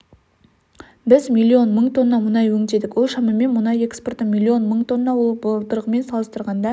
біз миллион мың тонна мұнай өңдедік ол шамамен мұнай экспорты миллион мың тонна ол былтырғымен салыстырғанда